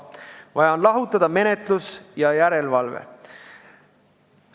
Vaja on lahutada menetlus ja järelevalve.